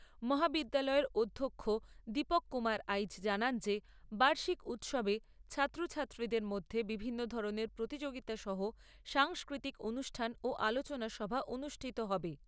মহাবিদ্যালয়ের অধ্যক্ষ দীপক কুমার আইচ জানান যে বার্ষিক উৎসবে ছাত্র ছাত্রীদের মধ্য বিভিন্ন ধরনের প্রতিযোগিতা সহ সাংস্কৃতিক অনুষ্ঠান ও আলোচনা সভা অনুষ্ঠিত হবে।